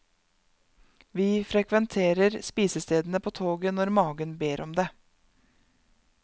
Vi frekventerer spisestedene på toget når magen ber om det.